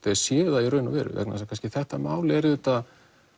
þeir séu það í raun og veru vegna þess að kannski þetta mál er auðvitað